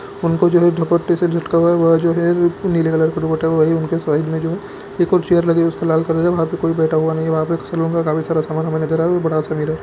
उनको जो है ढकोल टी-शर्ट लटकाया हुआ है वो जो है नीले कलर का उनके साइड में जो है एक और चेयर लगे है उसका लाल कलर है वहां पे कोई बैठा हुआ नहीं है वहां पे किसी